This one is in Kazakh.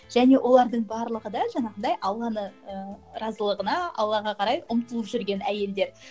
және олардың барлығы да жаңағындай алланы ыыы разылығына аллаға қарай ұмтылып жүрген әйелдер